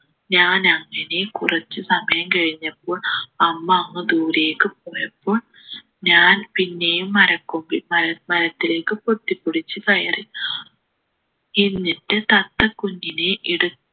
ഞാൻ അങ്ങനെ കുറച്ച് സമയം കഴിഞ്ഞപ്പോൾ അമ്മ അങ്ങ് ദൂരേക്ക് പോയപ്പോൾ ഞാൻ പിന്നെയും മരക്കൊമ്പിൽ മര മരത്തിലേക്ക് പൊത്തിപ്പിടിച്ച് കയറി എന്നിട്ട് തത്ത കുഞ്ഞിനെ എടുത്തു